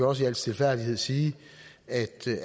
også i al stilfærdighed sige at